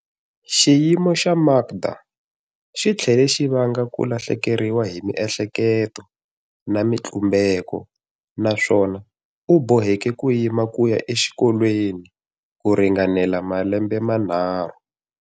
Xiyimo xa Makda xi tlhele xi vanga ku lahlekeriwa hi miehleketo na mitlumbeko naswona u boheke ku yima ku ya exikolweni ku ringana malembe manharhu.